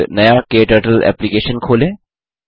एक नया क्टर्टल एप्लिकेशन खोलें